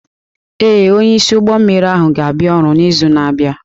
Ee, onyeisi ụgbọ mmiri ahụ ga-abịa ọrụ n'izu na-abịa.